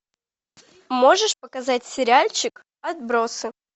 можешь показать сериальчик отбросы